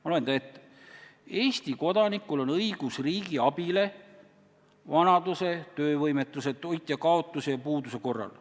Ma loen teile ette: "Eesti kodanikul on õigus riigi abile vanaduse, töövõimetuse, toitjakaotuse ja puuduse korral.